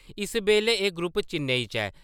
इस बैल्ले एह् ग्रुप चैन्नेई च ऐ।